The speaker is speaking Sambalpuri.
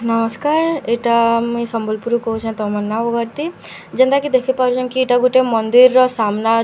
ନମସ୍କାର ଏଟା ମୁଇଁ ସମ୍ବଲପୁର ରୁ କହୁଁଛେ ତମନ୍ନା ବଗର୍ତ୍ତୀ ଯେନ୍ତା କି ଦେଖି ପାରୁଛନ କି ଏଟା ଗୁଟେ ମନ୍ଦିର ର ସାମ୍ନା ଅ--